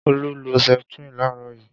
Olu lo Septrin láàárọ̀ yìí.